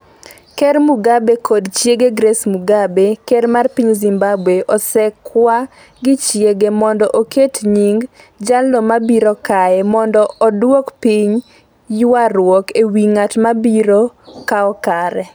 Ker Mugabe kod chiege Grace Mugabe ker mar piny Zimbabwe osekwa gi chiege mondo oket nying "jalno mabiro kaye" mondo oduok piny ywarruok ewi ng'at mabiro kawo kare.